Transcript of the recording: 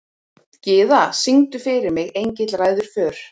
Gyða, syngdu fyrir mig „Engill ræður för“.